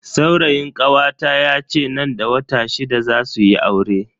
Saurayin kawata yace nan da wata shida zasu yi aure.